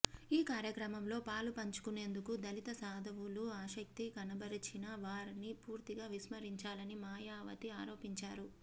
ఈ కార్యక్రమంలో పాలుపంచుకునేందుకు దళిత సాధువులు ఆసక్తి కనబరిచినా వారిని పూర్తిగా విస్మరించారని మాయావతి ఆరోపించారు